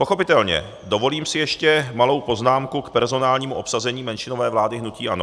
Pochopitelně, dovolím si ještě malou poznámku k personálnímu obsazení menšinové vlády hnutí ANO.